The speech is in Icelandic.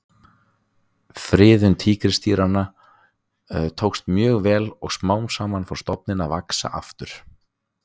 friðun tígrisdýranna tókst mjög vel og smám saman fór stofninn að vaxa aftur